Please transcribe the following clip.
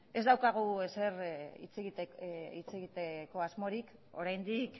ez daukagu ezer hitz egiteko asmorik oraindik